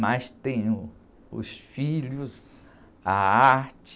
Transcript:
Mas tenho os filhos, a arte...